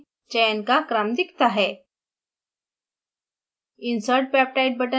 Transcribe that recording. sequence text box में चयन का क्रम दिखता है